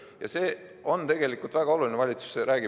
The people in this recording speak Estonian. Ja see on tegelikult väga oluline.